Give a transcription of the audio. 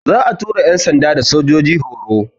Za'a tura yan'sanda da sojoji horo.